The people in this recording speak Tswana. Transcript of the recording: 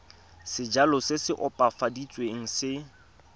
sejalo se se opafaditsweng se